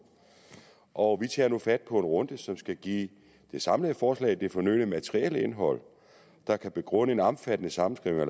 og vi tager nu fat på en runde som skal give det samlede forslag det fornødne materielle indhold der kan begrunde en omfattende sammenskrivning